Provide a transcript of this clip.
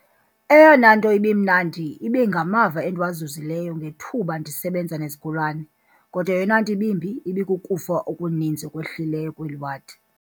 "Eyona nto ibimnandi ibe ngamava endiwazuzileyo ngethuba ndisebenza nezigulana, kodwa eyona nto ibimbi ibikukufa okuninzi okwehlileyo kweli wadi."